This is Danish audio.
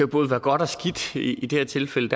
både være godt og skidt i det her tilfælde